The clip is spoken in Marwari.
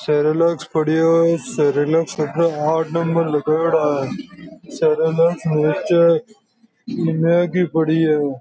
सेरेलैक पड़ियाे है सेरेलैक पर आठ नंबर लगाउड़ा है सेरेलैक नीचे मैगी पड़ी है।